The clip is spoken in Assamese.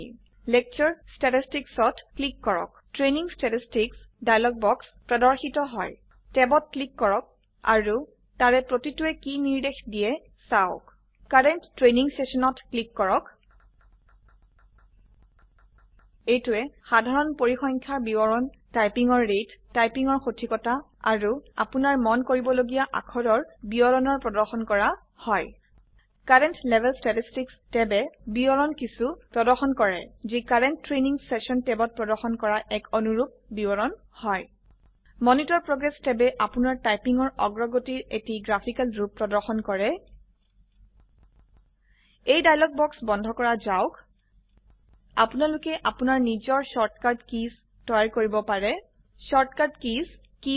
লেকচাৰ ষ্টেটিষ্টিক্স ত ক্লিক কৰো ট্ৰেইনিং ষ্টেটিষ্টিক্স ডায়ালগে বস প্ৰদৰ্শিত হয় ট্যাব ত ক্লিক কৰক আৰু তাৰে প্ৰতিটোৱে কি নিৰ্দেশ দিয়ে চাওক কাৰেণ্ট ট্ৰেনিং সেশনত ক্লিক কৰক এইটোৱে সাধাৰন পৰিসংখ্যানৰ বিবৰণ টাইপিংৰ ৰেট টাইপিংৰ সঠিকতা আৰু আপোনাৰ মন কৰিবলগীয়া অাক্ষৰৰ বিৱৰণৰ প্ৰদৰ্শন কৰা হয় কাৰেণ্ট লেভেল ষ্টেটিষ্টিক্স ট্যাবে বিৱৰন কিছো প্ৰদৰ্শন কৰে যি কাৰেণ্ট ট্ৰেনিং সেশন ট্যাবত প্ৰদৰ্শন কৰা এক অনুৰুপ বিবৰণ হয় মনিতৰ প্ৰগ্ৰেছ ট্যাবে আপনাৰ টাইপিং ৰ অগ্ৰগতিৰ এটি গ্ৰাফিকাল ৰুপ প্ৰদৰ্শন কৰে এই ডাইলগ বাক্স বন্ধ কৰা যাওক আপোনালোকে আপোনাৰ নিজৰ শৰ্ট কাট কিছ তৈয়াৰ কৰিব পাৰে শৰ্ট কাট কিছ কি হয়